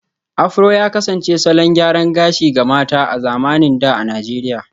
Afro ya kasance salon gyaran gashi ga mata a zamanin da a Najeriya